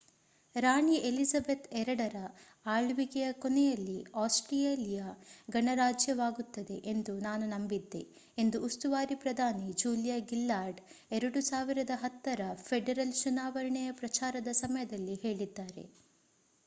ರಾಣಿ Elizabeth ii ರ ಆಳ್ವಿಕೆಯ ಕೊನೆಯಲ್ಲಿ ಆಸ್ಟ್ರೇಲಿಯಾ ಗಣರಾಜ್ಯವಾಗುತ್ತದೆ ಎಂದು ನಾನು ನಂಬಿದ್ದೆ ಎಂದು ಉಸ್ತುವಾರಿ ಪ್ರಧಾನಿ ಜೂಲಿಯಾ ಗಿಲ್ಲಾರ್ಡ್ 2010 ರ ಫೆಡರಲ್ ಚುನಾವಣೆಯ ಪ್ರಚಾರದ ಸಮಯದಲ್ಲಿ ಹೇಳಿದ್ದಾರೆ